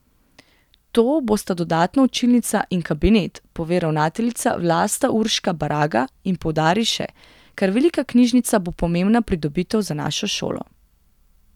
To bosta dodatna učilnica in kabinet, pove ravnateljica Vlasta Urška Baraga in poudari še: 'Kar velika knjižnica bo pomembna pridobitev za našo šolo.